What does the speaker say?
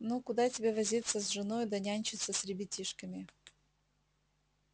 ну куда тебе возиться с женою да нянчиться с ребятишками